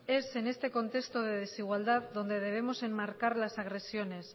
es en este contexto de desigualdad donde debemos enmarcar las agresiones